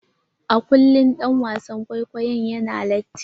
A kullum ɗan wasan kwaikwayon yana latti.